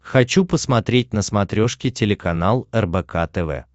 хочу посмотреть на смотрешке телеканал рбк тв